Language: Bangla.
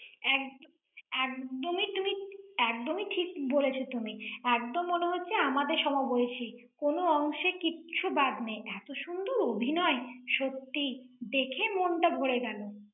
একদ~ একদমই তুমি, একদমই ঠিক বলেছো তুমি। একদম মনে হচ্ছে, আমাদের সম বয়সি। কোন অংশে কিছু বাদ নেই। এতো সুন্দর অভিনয়। সত্যি, দেখে মনটা ভরে গেল।